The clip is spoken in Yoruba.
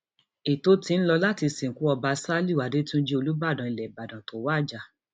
ètò ti ń lò láti sìnkú ọba ṣálíù àdètúnjì olùbàdàn ilẹ ìbàdàn tó wájà